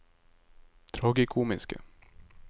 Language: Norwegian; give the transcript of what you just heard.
tragikomiske